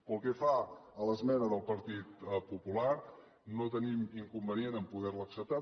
pel que fa a l’esmena del partit popular no tenim inconvenient a poder la acceptar